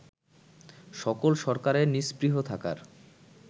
সকল সরকারের নিস্পৃহ থাকার